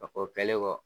A fɔ kɛlen kɔ